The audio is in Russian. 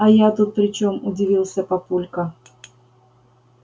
а я тут при чём удивился папулька